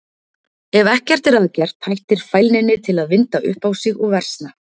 Ef ekkert er að gert hættir fælninni til að vinda upp á sig og versna.